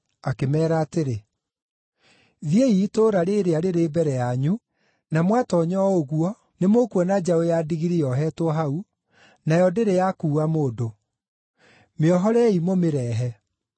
akĩmeera atĩrĩ, “Thiĩi itũũra rĩĩrĩa rĩrĩ mbere yanyu, na mwatoonya o ũguo, nĩmũkuona njaũ ya ndigiri yohetwo hau, nayo ndĩrĩ yakuua mũndũ. Mĩohorei mũmĩrehe.